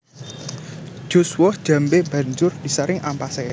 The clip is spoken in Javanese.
Jus woh jambé banjur disaring ampasé